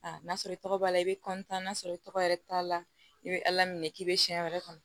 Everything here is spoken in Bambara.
n'a sɔrɔ i tɔgɔ b'a la i bɛ n'a sɔrɔ i tɔgɔ yɛrɛ t'a la i bɛ ala minɛ k'i bɛ siyɛn wɛrɛ kɔnɔ